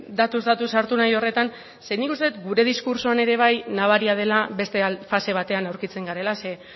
datuz datu sartu nahi horretan ze nik uste dut gure diskurtsoan ere bai nabaria dela beste fase batean aurkitzen garela ze